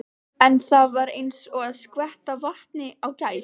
En það var eins og að skvetta vatni á gæs.